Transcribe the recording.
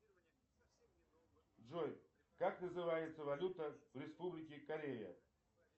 джой как называется валюта в республике корея